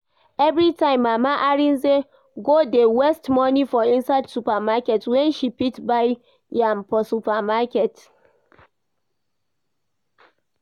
Everytime Mama Arinze go dey waste money for inside supermarket when she fit buy am for market